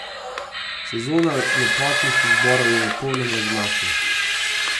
Sezona lepotnih izborov je v polnem razmahu.